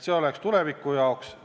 See oleks tuleviku jaoks.